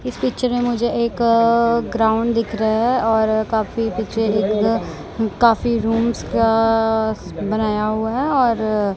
इस पिक्चर में मुझे एक अ ग्राउंड दिख रहा है और काफी पीछे एक काफी रूम्स अ बनाया हुआ है और--